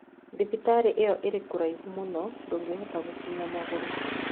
Thibitarĩ ĩyo ĩrĩ kũraihu mũno ndũngĩhota gũkinya magũrũ